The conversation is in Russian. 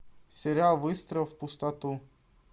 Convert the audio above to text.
сериал выстрел в пустоту